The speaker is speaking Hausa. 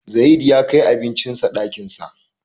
Zayid ya kai abincin sa ɗakin sa.